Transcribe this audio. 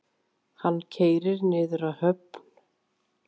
Hann keyrir niður að höfn.